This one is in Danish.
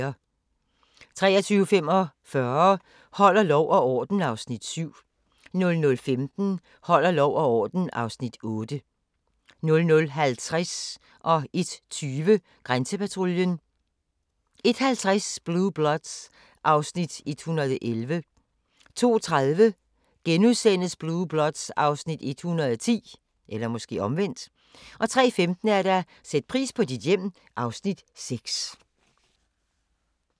23:45: Holder lov og orden (Afs. 7) 00:15: Holder lov og orden (Afs. 8) 00:50: Grænsepatruljen 01:20: Grænsepatruljen 01:50: Blue Bloods (Afs. 111) 02:30: Blue Bloods (Afs. 110)* 03:15: Sæt pris på dit hjem (Afs. 6)